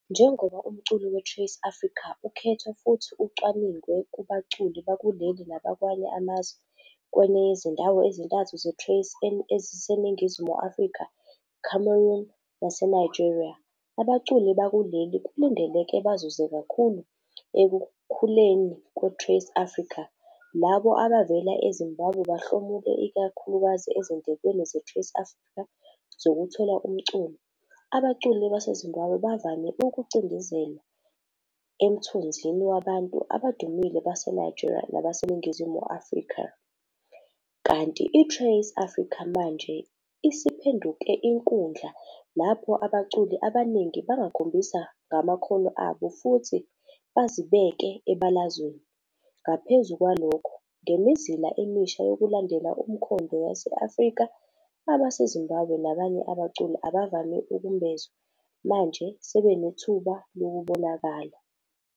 Njengoba umculo weTrace Africa ukhethwa futhi ucwaningwe kubaculi bakuleli nabakwamanye amazwe kwenye yezindawo ezintathu zeTrace eziseNingizimu Afrika, eCameroon naseNigeria, abaculi bakuleli kulindeleke bazuze kakhulu ekukhuleni kweTrace Africa. Labo abavela eZimbabwe bahlomule ikakhulukazi ezindlekweni zeTrace Africa zokuthola umculo. Abaculi baseZimbabwe bavame ukucindezelwa emthunzini wabantu abadumile baseNigeria nabaseNingizimu Afrika kanti iTrace Africa manje isiphenduke inkundla lapho abaculi abaningi bengakhombisa ngamakhono abo futhi bazibeke ebalazweni. Ngaphezu kwalokho, ngemizila emisha yokulandela umkhondo yase-Afrika, abaseZimbabwe nabanye abaculi abavame ukumbozwa manje sebenethuba lokubonakala.